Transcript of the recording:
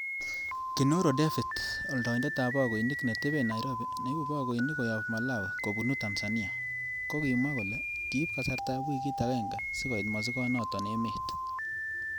Kinoro Devit, oldoindet ab bogoinik neteben Nairobi neibu bogoinik koyob Malawi kobunu Tanzania, kokimwa kole kiib kasartab wikit agenge sikoit mosigonoton emet.